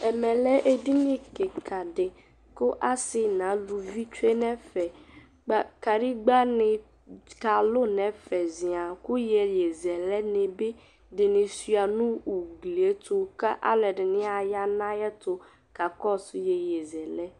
Ɛmɛɛ lɛ edini kika di ku asi naluvi twe nɛƒɛ ba kadigba ni kalu nɛƒɛ ʒiaŋ ku yeye ʒɛlɛ ni bi ɛdini swua nu ugliɛtu kaluɛdini ayanayɛtu kakɔsu yeye ʒɛlɛɛ